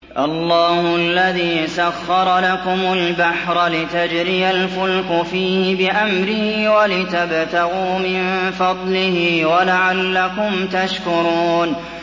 ۞ اللَّهُ الَّذِي سَخَّرَ لَكُمُ الْبَحْرَ لِتَجْرِيَ الْفُلْكُ فِيهِ بِأَمْرِهِ وَلِتَبْتَغُوا مِن فَضْلِهِ وَلَعَلَّكُمْ تَشْكُرُونَ